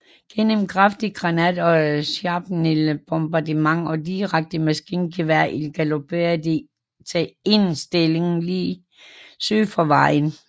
Gennem kraftig granat og shrapnel bombardement og direkte maskingeværild galopperede de til en stilling lige syd for vejen